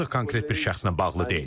Bu artıq konkret bir şəxslə bağlı deyil.